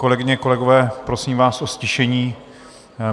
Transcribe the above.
Kolegyně, kolegové, prosím vás o ztišení.